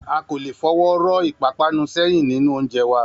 A kò lè fọwọ́ rọ́ ìpápanú sẹ́yìn nínú oúnjẹ wa